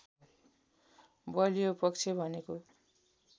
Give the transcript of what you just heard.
बलियो पक्ष भनेको